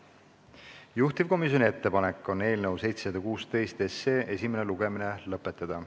Juhtivkomisjoni ettepanek on eelnõu 716 esimene lugemine lõpetada.